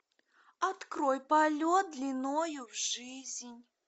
открой полет длиною в жизнь